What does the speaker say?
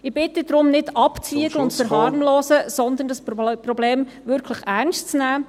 Ich bitte darum, nicht abzuwägen … und zu verharmlosen, sondern das Problem wirklich ernst zu nehmen.